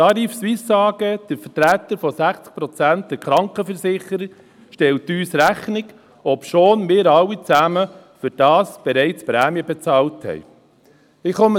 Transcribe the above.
Die Tarifsuisse AG, die Vertreterin von 60 Prozent der Krankenversicherer, stellt uns das in Rechnung, wofür wir alle schon Prämien bezahlt haben.